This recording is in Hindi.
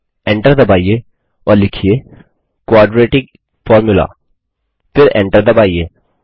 Enter दबाइए और लिखिए क्वाड्रेटिक Formula फिर Enter दबाइए